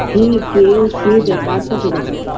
কি কে কে দে কার সাথে দেখা কর~